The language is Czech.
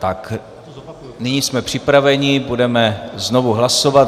Tak, nyní jsme připraveni, budeme znovu hlasovat.